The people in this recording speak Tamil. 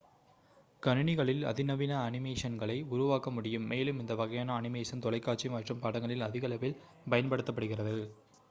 கணினிகளில் அதிநவீன அனிமேஷன்களை உருவாக்க முடியும் மேலும் இந்த வகையான அனிமேஷன் தொலைக்காட்சி மற்றும் படங்களில் அதிகளவில் பயன்படுத்தப்படுகிறது